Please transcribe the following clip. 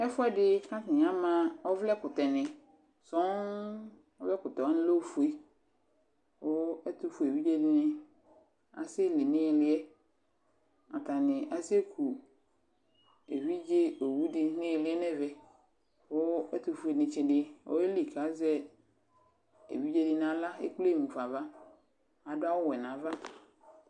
Ɛfʋɛdɩ kʋ atanɩ ama ɔvlɛkʋtɛnɩ sɔŋ Ɔvlɛkʋtɛ wanɩ lɛ ofue kʋ ɛtʋfue evidze dɩnɩ asɛli nʋ ɩɩlɩ yɛ Atanɩ asɛku evidze owu dɩ nʋ ɩɩlɩ nʋ ɛvɛ kʋ ɛtʋfuenɩtsɩ dɩ azɛ evidze dɩ nʋ aɣla, ekple mu fa ava, adʋ awʋwɛ nʋ ava